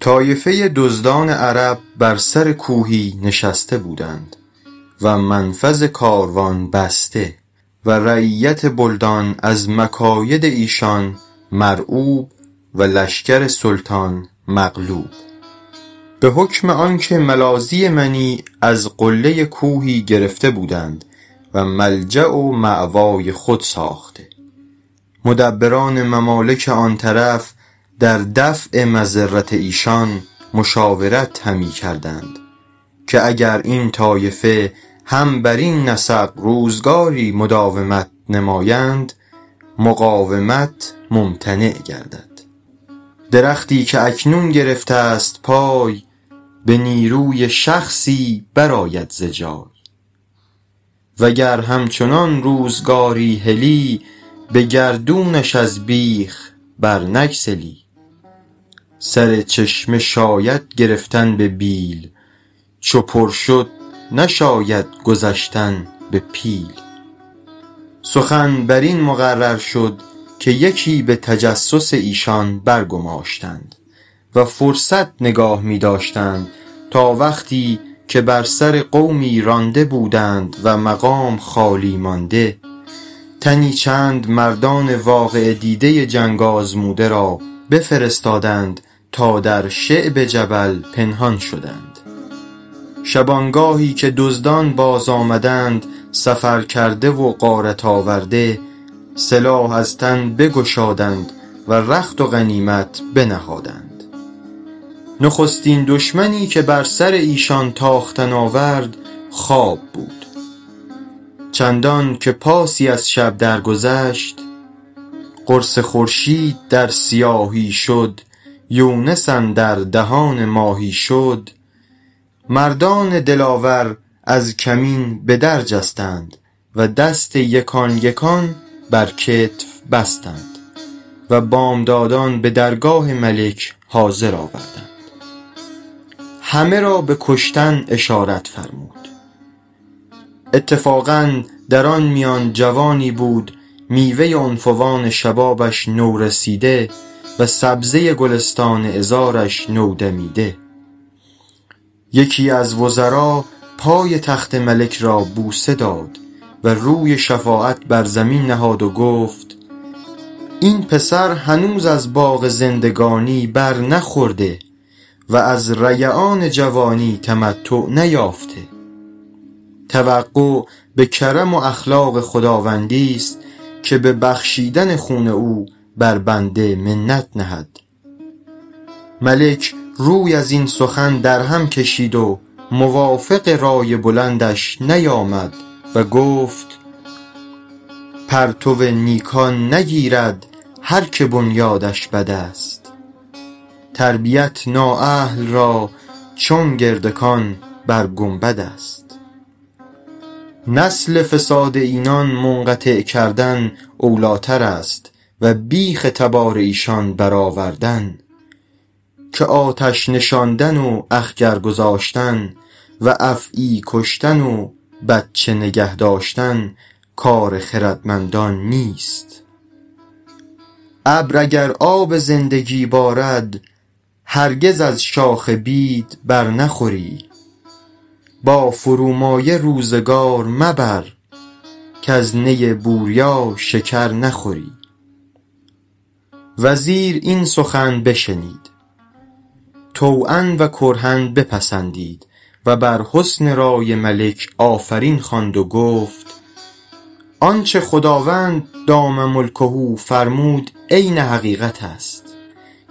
طایفه دزدان عرب بر سر کوهی نشسته بودند و منفذ کاروان بسته و رعیت بلدان از مکاید ایشان مرعوب و لشکر سلطان مغلوب به حکم آنکه ملاذی منیع از قله کوهی گرفته بودند و ملجأ و مأوای خود ساخته مدبران ممالک آن طرف در دفع مضرت ایشان مشاورت همی کردند که اگر این طایفه هم برین نسق روزگاری مداومت نمایند مقاومت ممتنع گردد درختی که اکنون گرفته ست پای به نیروی شخصی برآید ز جای و گر همچنان روزگاری هلی به گردونش از بیخ بر نگسلی سر چشمه شاید گرفتن به بیل چو پر شد نشاید گذشتن به پیل سخن بر این مقرر شد که یکی به تجسس ایشان برگماشتند و فرصت نگاه می داشتند تا وقتی که بر سر قومی رانده بودند و مقام خالی مانده تنی چند مردان واقعه دیده جنگ آزموده را بفرستادند تا در شعب جبل پنهان شدند شبانگاهی که دزدان باز آمدند سفرکرده و غارت آورده سلاح از تن بگشادند و رخت و غنیمت بنهادند نخستین دشمنی که بر سر ایشان تاختن آورد خواب بود چندان که پاسی از شب در گذشت قرص خورشید در سیاهی شد یونس اندر دهان ماهی شد مردان دلاور از کمین به در جستند و دست یکان یکان بر کتف بستند و بامدادان به درگاه ملک حاضر آوردند همه را به کشتن اشارت فرمود اتفاقا در آن میان جوانی بود میوه عنفوان شبابش نورسیده و سبزه گلستان عذارش نودمیده یکی از وزرا پای تخت ملک را بوسه داد و روی شفاعت بر زمین نهاد و گفت این پسر هنوز از باغ زندگانی بر نخورده و از ریعان جوانی تمتع نیافته توقع به کرم و اخلاق خداوندی ست که به بخشیدن خون او بر بنده منت نهد ملک روی از این سخن در هم کشید و موافق رای بلندش نیامد و گفت پرتو نیکان نگیرد هر که بنیادش بد است تربیت نااهل را چون گردکان بر گنبد است نسل فساد اینان منقطع کردن اولی تر است و بیخ تبار ایشان بر آوردن که آتش نشاندن و اخگر گذاشتن و افعی کشتن و بچه نگه داشتن کار خردمندان نیست ابر اگر آب زندگی بارد هرگز از شاخ بید بر نخوری با فرومایه روزگار مبر کز نی بوریا شکر نخوری وزیر این سخن بشنید طوعا و کرها بپسندید و بر حسن رای ملک آفرین خواند و گفت آنچه خداوند دام ملکه فرمود عین حقیقت است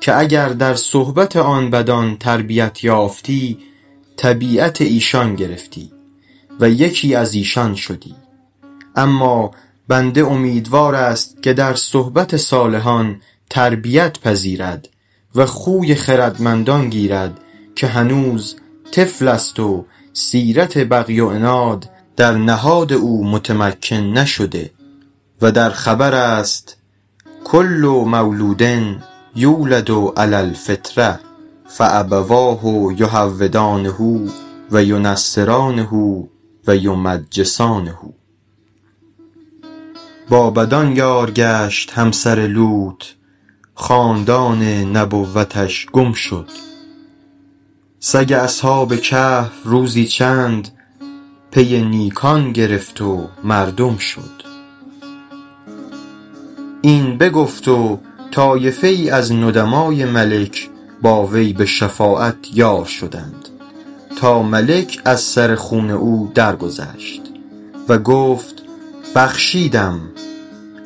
که اگر در صحبت آن بدان تربیت یافتی طبیعت ایشان گرفتی و یکی از ایشان شدی اما بنده امیدوار است که در صحبت صالحان تربیت پذیرد و خوی خردمندان گیرد که هنوز طفل است و سیرت بغی و عناد در نهاد او متمکن نشده و در خبر است کل مولود یولد علی الفطرة فأبواه یهودانه و ینصرانه و یمجسانه با بدان یار گشت همسر لوط خاندان نبوتش گم شد سگ اصحاب کهف روزی چند پی نیکان گرفت و مردم شد این بگفت و طایفه ای از ندمای ملک با وی به شفاعت یار شدند تا ملک از سر خون او درگذشت و گفت بخشیدم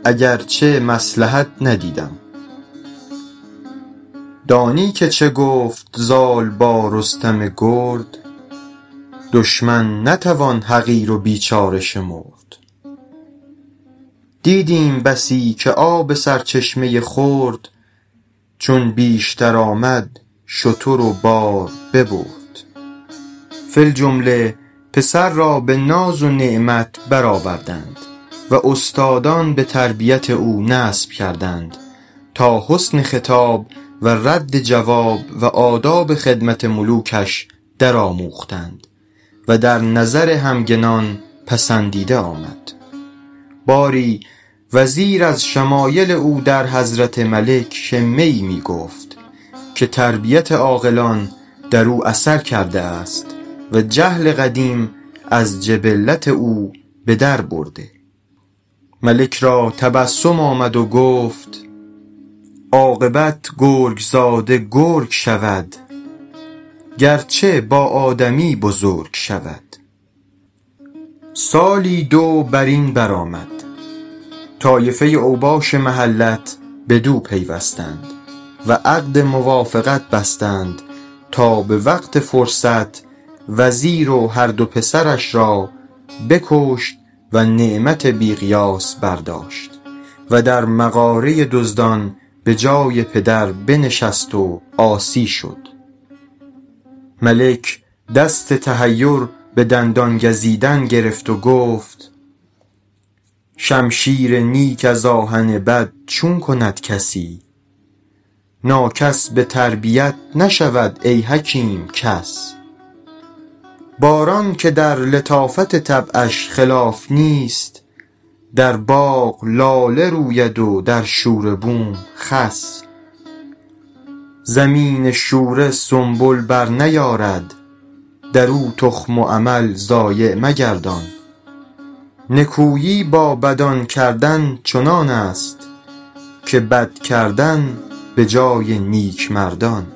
اگرچه مصلحت ندیدم دانی که چه گفت زال با رستم گرد دشمن نتوان حقیر و بیچاره شمرد دیدیم بسی که آب سرچشمه خرد چون بیشتر آمد شتر و بار ببرد فی الجمله پسر را به ناز و نعمت بر آوردند و استادان به تربیت او نصب کردند تا حسن خطاب و رد جواب و آداب خدمت ملوکش در آموختند و در نظر همگنان پسندیده آمد باری وزیر از شمایل او در حضرت ملک شمه ای می گفت که تربیت عاقلان در او اثر کرده است و جهل قدیم از جبلت او به در برده ملک را تبسم آمد و گفت عاقبت گرگ زاده گرگ شود گرچه با آدمی بزرگ شود سالی دو بر این بر آمد طایفه اوباش محلت بدو پیوستند و عقد موافقت بستند تا به وقت فرصت وزیر و هر دو پسرش را بکشت و نعمت بی قیاس برداشت و در مغاره دزدان به جای پدر بنشست و عاصی شد ملک دست تحیر به دندان گزیدن گرفت و گفت شمشیر نیک از آهن بد چون کند کسی ناکس به تربیت نشود ای حکیم کس باران که در لطافت طبعش خلاف نیست در باغ لاله روید و در شوره بوم خس زمین شوره سنبل بر نیارد در او تخم و عمل ضایع مگردان نکویی با بدان کردن چنان است که بد کردن به جای نیک مردان